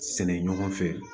Sɛnɛ ɲɔgɔn fɛ